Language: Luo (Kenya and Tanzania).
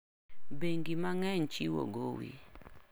Bengi mangeny chiwo gowi..